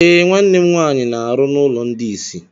Eh, nwanne m nwaanyị na-arụ n'ụlọ ndị isi.